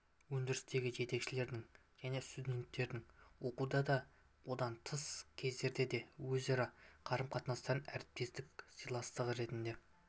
өндірістегі жетекшілердің және студенттердің оқуда да одан тыс кездерде де өзара қарым-қатынасы әріптестік сыйластығы ретінде